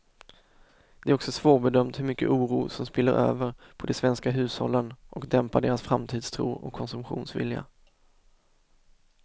Det är också svårbedömt hur mycket oro som spiller över på de svenska hushållen och dämpar deras framtidstro och konsumtionsvilja.